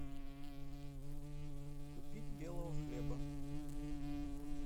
купить белого хлеба